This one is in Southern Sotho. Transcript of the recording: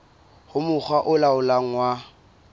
ho mokga o laolang wa